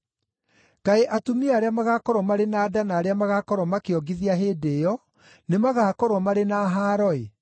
Kaĩ atumia arĩa magaakorwo marĩ na nda na arĩa magaakorwo makĩongithia hĩndĩ ĩyo nĩmagakorwo marĩ na haaro-ĩ!